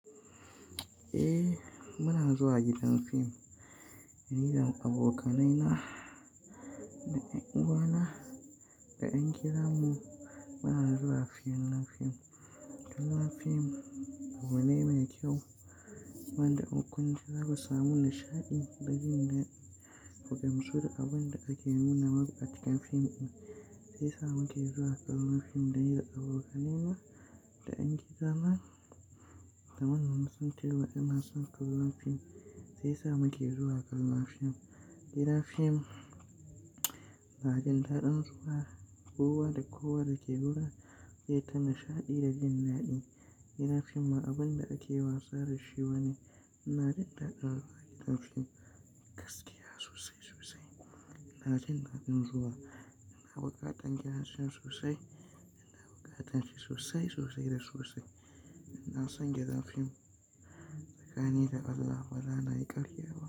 Eh muna zuwa gidan fim, ni da abokanai na da yanuwana da ƴan gidan mu muna zuwa kallon fim. Kallon fim abu ne mai kyau wanda in kun ji za ku samu nishaɗi da jin dadi, ku gamsu da abun da ake nuna maku a cikin fim din sai sa muke zuwa kallon fim da abokanai na da ƴan gidan na da mun san ta waɗansu kallon fim sai sama ke zuwa kallon fim. Gidan fim na jin daɗin zuwa kowa da kowa da ke gurin zai ta nishaɗi da jin daɗi. Gidan fim ma abun da ake wasa da shi bane, ina jin daɗin zuwa gidan fim gaskiya sosai sosai. Ina jin daɗin zuwa ina bukatar gidan fim sosai ina bukatar shi sosai sosai da sosai. Ina son gidan fim tsakani da Allah baza na yi ƙarya ba.